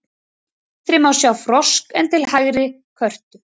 Til vinstri má sjá frosk en til hægri körtu.